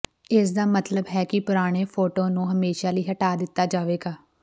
ਇਸ ਦਾ ਮਤਲਬ ਹੈ ਕਿ ਪੁਰਾਣੇ ਫੋਟੋ ਨੂੰ ਹਮੇਸ਼ਾ ਲਈ ਹਟਾ ਦਿੱਤਾ ਜਾਵੇਗਾ